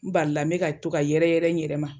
N bala me ka to ka yɛrɛyɛrɛ n yɛrɛ ma